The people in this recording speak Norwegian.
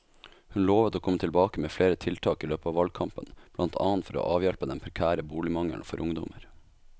Hun lovet å komme tilbake med flere tiltak i løpet av valgkampen, blant annet for å avhjelpe den prekære boligmangelen for ungdommer.